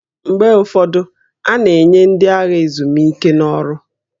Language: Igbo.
Mgbe ụfọdụ, a na-enye ndị agha ezumike n'ọrụ